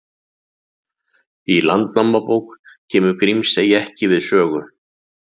Í Landnámabók kemur Grímsey ekki við sögu.